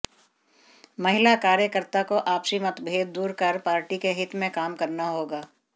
महिला कार्यकर्ता को आपसी मदभेद दूर कर पार्टी के हित में काम करना होगा